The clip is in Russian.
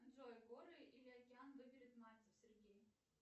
джой горы или океан выберет мальцев сергей